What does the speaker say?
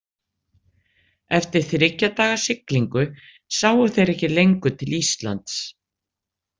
Eftir þriggja daga siglingu sáu þeir ekki lengur til Íslands.